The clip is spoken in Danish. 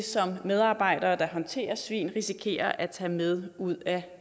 som medarbejdere der håndterer svin risikerer at tage med ud af